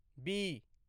B